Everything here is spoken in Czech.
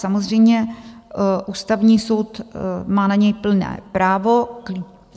Samozřejmě Ústavní soud má na něj plné právo.